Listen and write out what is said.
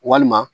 Walima